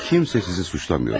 Kimse sizi suçlamır.